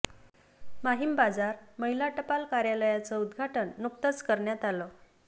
माहीम बाजार महिला टपाल कार्यालयाचं उद्घाटन नुकतंच करण्यात आलं